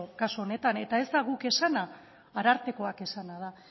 kasu honetan eta ez da guk esana arartekoak esana da